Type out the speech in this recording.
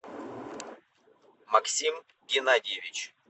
максим геннадьевич